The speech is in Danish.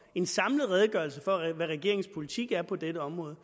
en samlet redegørelse for hvad regeringens politik er på dette område